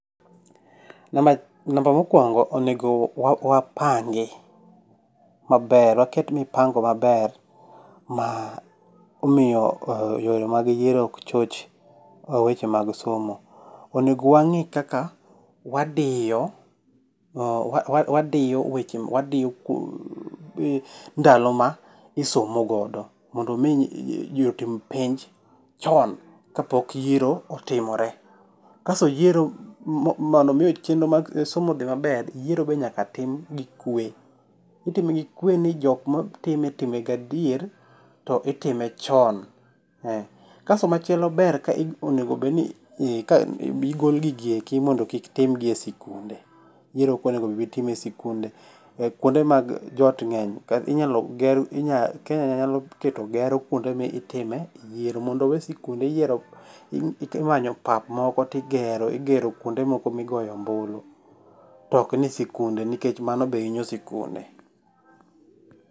Namba mokwongo onego wapangi maber. Waket mipango maber ma miyo yore mag yiero ok choch weche mag somo. Onego wang'i kaka wadiyo ndalo ma isomogodo mondo mi ji otim penj chon kapok yiero otimore. Kasto yiero mondo mi chenro mar somo odhi maber yiero be nyaka tim gi kwe. Itime gi kwe ni jok matime time gi adier to itime chon. Kasto machielo ber ka onego bed ka mi gol gigi eki modno kik timgi e sikunde kuonde. Yiero ok onendo otim e sikunde. Kuonde mag jot ng'eny kata Kenya nyalo keto gero kuonde ma itime yiero mondo owe sikunde iyiero imanyo pap moko to igero igero kuonde moko migoye ombulu tok ni sikunde nikech mano be inyo sikunde.